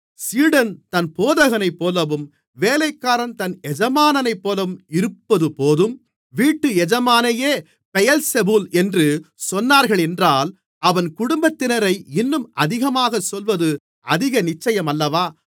சீடன் தன் போதகனைப்போலவும் வேலைக்காரன் தன் எஜமானைப்போலவும் இருப்பதுபோதும் வீட்டு எஜமானையே பெயெல்செபூல் என்று சொன்னார்களென்றால் அவன் குடும்பத்தினரை இன்னும் அதிகமாகச் சொல்வது அதிக நிச்சயமல்லவா